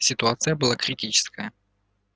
ситуация была критическая